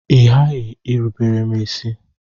Ị ghaghị irubere m isi!